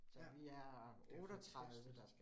Ja, det fantastisk